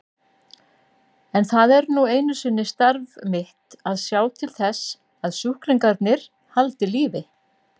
Það er nú einu sinni starf mitt að sjá til þess að sjúklingarnir haldi lífi.